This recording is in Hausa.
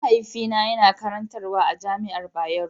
Mahaifina yana karantarwa a jami'ar Bayero.